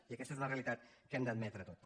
i aquesta és una realitat que hem d’admetre tots